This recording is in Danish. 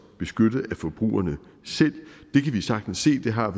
beskyttet af forbrugerne selv det kan vi sagtens se det har